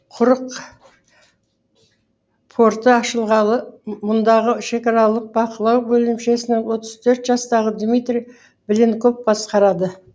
құрық порты ашылғалы мұндағы шекаралық бақылау бөлімшесін отыз төрт жастағы дмитрий буленков басқарады